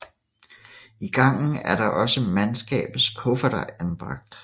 I gangen er også mandskabets kufferter anbragt